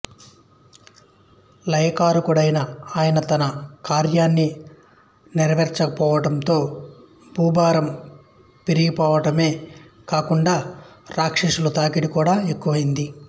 లయకారకుడైన ఆయన తన కార్యాన్ని నెరవేర్చకపోవడంతో భూభారం పెరిగిపోవడమే కాకుండా రాక్షసుల తాకిడి కూడా ఎక్కువయింది